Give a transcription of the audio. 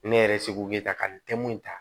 Ne yɛrɛ seko ye ta ka n tɛm'o ta